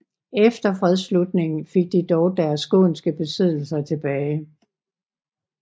Efter fredsslutningen fik de dog deres skånske besiddelser tilbage